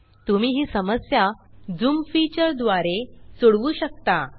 तुम्ही ही समस्या झूम झूम फीचर द्वारे सोडवू शकता